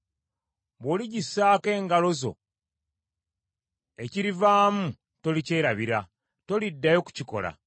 Bw’oligissaako engalo zo ekirivaamu tolikyerabira, toliddayo kukikola!